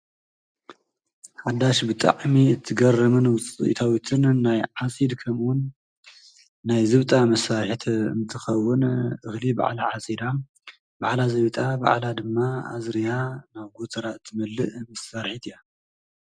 ሓዳሽ ብጣዕሜ እትገረምን ውፅኢታዊትን ናይ ዓሲድ ከምውን ናይ ዘብጣ መሣት እምትኸውን እኽሊ በዕላ ዓሲዳ በዕላ ዘብጣ በዕላ ድማ ኣዝርያ ናብ ጐትራ እትምልእ ምሳርት እያ።